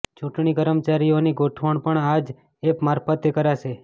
ચૂંટણી કર્મચારીઓની ગોઠવણ પણ આ જ એપ મારફતે કરાશે